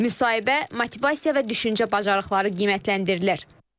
Müsahibə, motivasiya və düşüncə bacarıqları qiymətləndirilir.